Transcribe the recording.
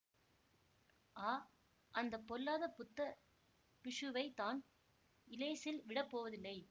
ஆ அந்த பொல்லாத புத்த பிக்ஷுவை தான் இலேசில் விடப்போவதில்லை